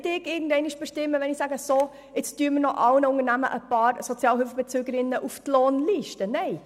Es geht nicht darum, den Betrieben noch einige zusätzliche Sozialhilfebeziehende auf die Lohnliste zu setzen.